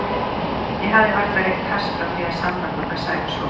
Ég hafði varla reykt hass frá því að samband okkar Sævars hófst.